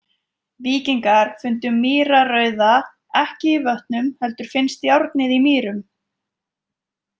Víkingar fundu mýrarauða ekki í vötnum heldur finnst járnið í mýrum.